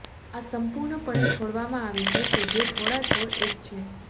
આ સંપૂર્ણપણે છોડવામાં આવે છે કે જે થોડા છોડ એક છે